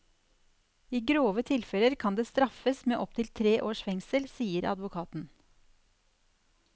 I grove tilfeller kan det straffes med opptil tre års fengsel, sier advokaten.